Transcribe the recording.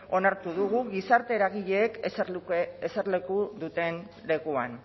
onartu dugu gizarte eragileek eserleku duten lekuan